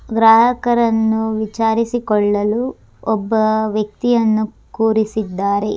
ಗ್ರಾಹಕರನ್ನು ವಿಚಾರಿಸಿಕೊಳ್ಳಲು ಒಬ್ಬ ವ್ಯಕ್ತಿಯನ್ನು ಕೂರಿಸಿದ್ದಾರೆ